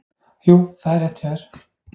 Jú, það er rétt hjá þér.